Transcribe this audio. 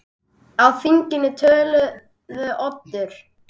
Á þinginu töluðu Oddur